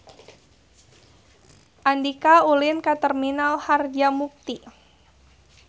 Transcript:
Andika ulin ka Terminal Harjamukti